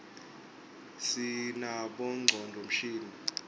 sinabonqcondvo mshini